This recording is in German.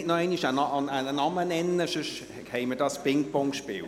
Bitte nennen Sie nicht noch einmal einen Namen, sonst haben wir hier ein Ping-Pong-Spiel.